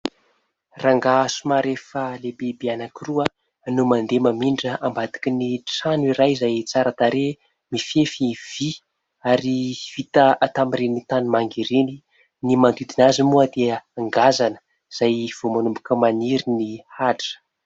Rangahy somary efa lehibe be anankiroa no mandeha mamindra ao ambadikin'ny trano iray izay tsara tarehy, mifefy vy ary vita tamin'ny ireny tanimanga ireny. Ny manodidina azy moa dia ngazana izay vao manomboka maniry ny ahitra.